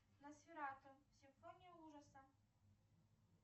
носферату симфония ужаса